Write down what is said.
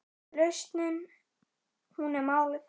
Lausnin hún er málið.